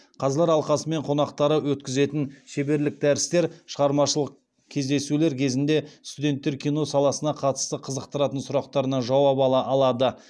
қазылар алқасы мен қонақтары өткізетін шеберлік дәрістер шығармашылық кездесулер кезінде студенттер кино саласына қатысты қызықтыратын сұрақтарына жауап ала алады